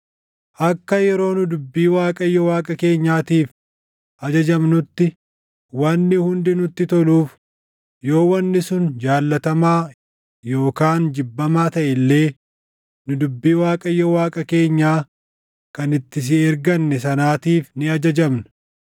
Akka yeroo nu dubbii Waaqayyo Waaqa keenyaatiif ajajamnutti wanni hundi nutti toluuf yoo wanni sun jaallatamaa yookaan jibbamaa taʼe illee nu dubbii Waaqayyo Waaqa keenyaa kan itti si erganne sanaatiif ni ajajamna.”